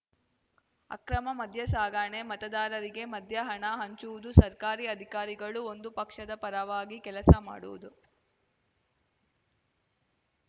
ಅಕ್ರಮ ಮದ್ಯ ಸಾಗಾಣೆ ಮತದಾರರಿಗೆ ಮದ್ಯಹಣ ಹಂಚುವುದು ಸರ್ಕಾರಿ ಅಧಿಕಾರಿಗಳು ಒಂದು ಪಕ್ಷದ ಪರವಾಗಿ ಕೆಲಸ ಮಾಡುವುದು